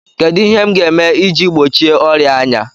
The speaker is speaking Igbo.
Kedụ ihe m ga-eme iji gbochie ọrịa anya?